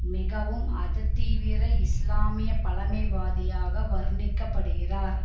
மிகவும் அததீவிர இஸ்லாமிய பழமைவாதியாக வருணிக்கப்படுகிறார்